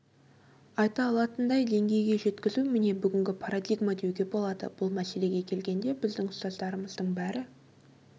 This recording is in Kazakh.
айта алатындай деңгейге жеткізу міне бүгінгі парадигма деуге болады бұл мәселеге келгенде біздің ұстаздарымыздың бәрі